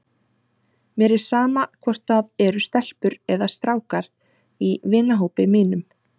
Mér er sama hvort það eru stelpur eða strákar í vinahópi mínum.